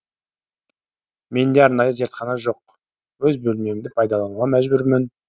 менде арнайы зертхана жоқ өз бөлмемді пайдалануға мәжбүрмін